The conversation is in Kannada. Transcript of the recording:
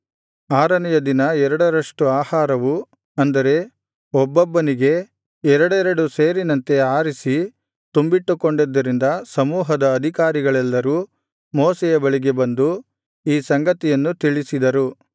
ಆರನೆಯ ದಿನ ಎರಡರಷ್ಟು ಆಹಾರವು ಅಂದರೆ ಒಬ್ಬೊಬ್ಬನಿಗೆ ಎರಡೆರಡು ಸೇರಿನಂತೆ ಆರಿಸಿ ತುಂಬಿಟ್ಟುಕೊಂಡಿದ್ದರಿಂದ ಸಮೂಹದ ಅಧಿಕಾರಿಗಳೆಲ್ಲರು ಮೋಶೆಯ ಬಳಿಗೆ ಬಂದು ಈ ಸಂಗತಿಯನ್ನು ತಿಳಿಸಿದರು